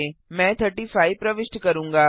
मैं 35 प्रविष्ट करूंगा